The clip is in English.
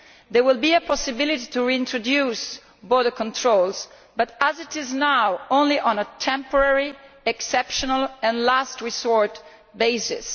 There will be a possibility to reintroduce border controls but, as now, only on a temporary, exceptional and last resort basis.